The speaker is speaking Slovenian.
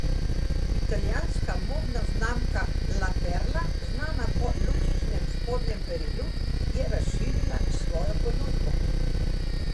Italijanska modna znamka La Perla, znana po luksuznem spodnjem perilu, je razširila svojo ponudbo.